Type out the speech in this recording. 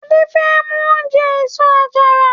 Ade femu oje eso-àjara.